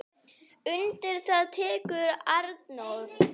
Undir það tekur Arnór.